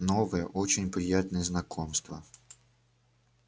новое очень приятное знакомство